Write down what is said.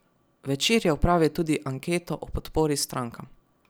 Večer je opravil tudi anketo o podpori strankam.